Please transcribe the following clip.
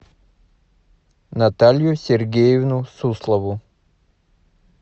наталью сергеевну суслову